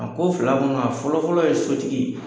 A ko fila kɔnɔ a fɔlɔfɔlɔ ye sotigi ye